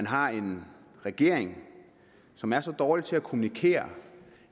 har en regering som er så dårlig til at kommunikere